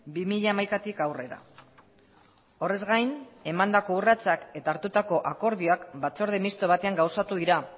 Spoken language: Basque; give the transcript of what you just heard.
bi mila hamaikatik aurrera horrez gain emandako urratsak eta hartutako akordioak batzorde misto batean gauzatu dira